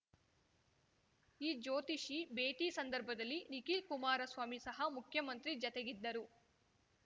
ಈ ಜ್ಯೋತಿಷಿ ಭೇಟಿ ಸಂದರ್ಭದಲ್ಲಿ ನಿಖಿಲ್ ಕುಮಾರಸ್ವಾಮಿ ಸಹ ಮುಖ್ಯಮಂತ್ರಿ ಜತೆಗಿದ್ದರು